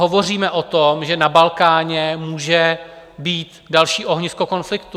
Hovoříme o tom, že na Balkáně může být další ohnisko konfliktu.